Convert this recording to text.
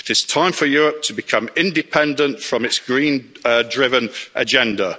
It is time for Europe to become independent from its green driven agenda.